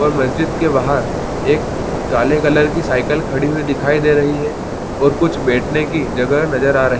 --और मस्जिद के बहार एक काले कलर की साइकिल खड़ी हुई दिखाई दे रही है और कुछ बैठने की जगह नज़र आ रही है।